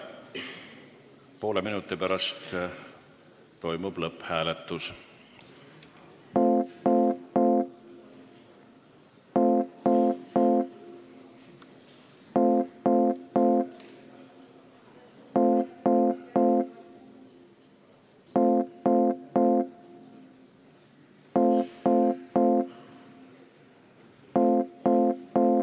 Poole minuti pärast toimub lõpphääletus.